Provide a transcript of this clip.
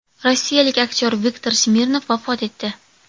Rossiyalik aktyor Viktor Smirnov vafot etdi.